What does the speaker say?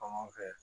Fan fɛ